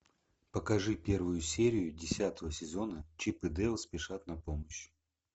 покажи первую серию десятого сезона чип и дейл спешат на помощь